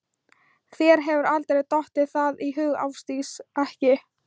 Þér hefur aldrei dottið það í hug Ásdís, ekki.